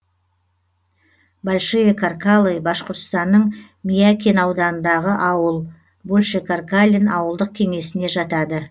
большие каркалы башқұртстанның миякин ауданындағы ауыл большекаркалин ауылдық кеңесіне жатады